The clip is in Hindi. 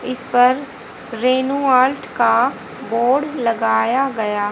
इस पर रेनू आर्ट का बोर्ड लगाया गया--